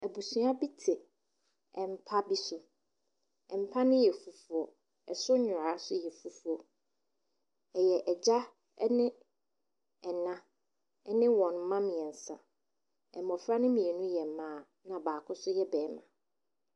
Abusua bi te mpa bi so. Mpa no yɛ fufuo yɛ fufuo. Ɛyɛ agya ɛne ena ne ne mma miɛnsa. Mmofra no mienu yɛ mmaa ɛna baako nso yɛ bɛɛma.